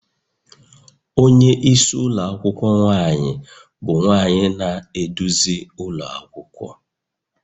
Onye isi ụlọ akwụkwọ nwaanyị bụ nwanyị na-eduzi ụlọ akwụkwọ